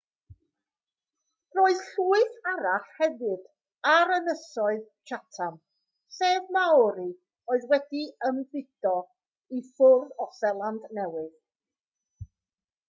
roedd llwyth arall hefyd ar ynysoedd chatham sef maori oedd wedi ymfudo i ffwrdd o seland newydd